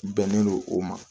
Bɛnnen don o ma